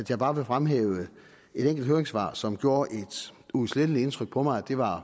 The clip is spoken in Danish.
jeg bare vil fremhæve et enkelt høringssvar som gjorde et uudsletteligt indtryk på mig det var